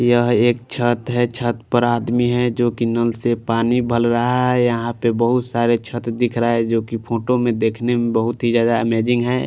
यह एक छत है छत पर आदमी है जो की नल से पानी भर रहा है यहां पर बहुत सारे छत दिख रहा है जो की फोटो में देखने में बहुत ही ज्यादा अमेजिंग है।